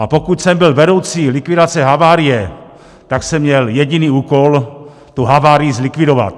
A pokud jsem byl vedoucí likvidace havárie, tak jsem měl jediný úkol - tu havárii zlikvidovat.